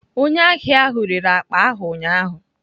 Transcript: Onye ahịa ahụ rere akpa ahụ ụnyaahụ.